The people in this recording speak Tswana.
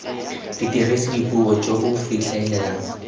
dirisa dipuo jo bo fitlhelelang